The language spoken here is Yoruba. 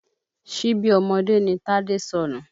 Ṣíbí ọmọdé ni Tádé sọnù